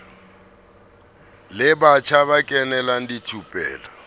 la batjha ba kenelang dithupelo